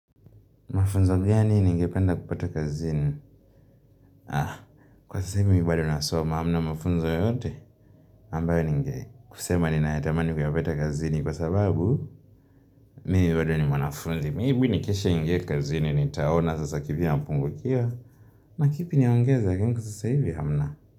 Mafunzo gani nini ningependa kupata kazini? Ah, kwa sasa hivi mimi bado nasoma hamna mafunzo yote, ambayo ningesema ninayatamani kuyapata kazini kwa sababu mimi bado ni mwanafunzi. Maybe nikeshe niingie kazini nitaona sasa kipi napungukiwa na kipi niongeze lakini kwa sasa hivi hamna.